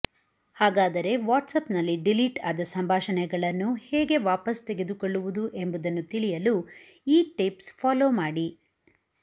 ಹಾಗಾದರೆ ವಾಟ್ಸಾಪ್ನಲ್ಲಿ ಡಿಲೀಟ್ ಆದ ಸಂಭಾಷಣೆಗಳನ್ನು ಹೇಗೆ ವಾಪಸ್ ತೆಗೆದುಕೊಳ್ಳುವುದು ಎಂಬುದನ್ನು ತಿಳಿಯಲು ಈ ಟಿಪ್ಸ್ ಫಾಲೋ ಮಾಡಿ